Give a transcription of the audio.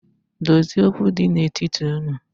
Dozie okwu di n’etiti unu